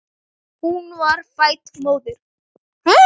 Hún var fædd móðir.